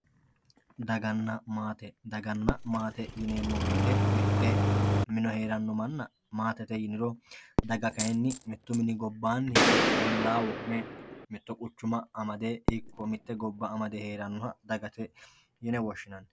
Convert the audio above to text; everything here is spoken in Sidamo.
daganna maate daganna maate yineemo woyiite mitto mine heeranno manna maatete yiniro daga kaayiini mittu mini gobaanni ikke ollaa wo'me mitto quchuma amade woy mitte gobba amade herannoha dagate yine woshshinanni.